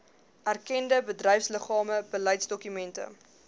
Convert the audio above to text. erkende bedryfsliggame beleidsdokumente